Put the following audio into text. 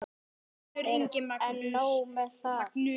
En nóg með það.